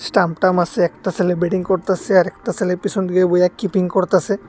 Stump টাম্ব আসে একটা সেলে বেটিং করতাসে আরেকটা সেলে পিসন দিকে বইয়া কিপিং করতাসে।